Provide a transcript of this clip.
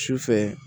Sufɛ